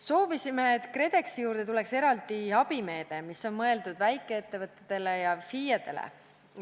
Soovisime, et KredExi juurde tuleks eraldi abimeede, mis on mõeldud väikeettevõtetele ja FIE-dele.